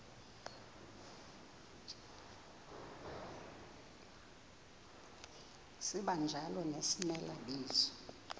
sibanjalo nezimela bizo